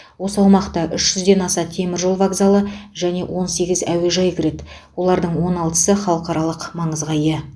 осы аумақта үш жүзден аса теміржол вокзалы және он сегіз әуежай кіреді олардың он алтысы халықаралық маңызға ия